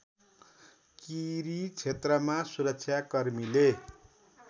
किरी क्षेत्रमा सुरक्षाकर्मीले